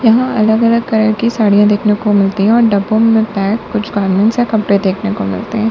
यहां अलग अलग कलर की साड़ियां देखने को मिलती है और डब्बो में पैक कुछ गारमेंट्स और कपड़े देखने को मिलते हैं।